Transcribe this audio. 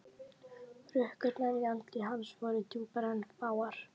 Hrukkurnar í andliti hans voru djúpar en fáar.